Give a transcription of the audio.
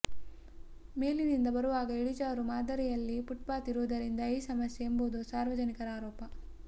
ಮೇಲಿನಿಂದ ಬರುವಾಗ ಇಳಿಜಾರು ಮಾದರಿಯಲ್ಲಿ ಫುಟ್ಪಾತ್ ಇರುವುದರಿಂದ ಈ ಸಮಸ್ಯೆ ಎಂಬುದು ಸಾರ್ವಜನಿಕರ ಆರೋಪ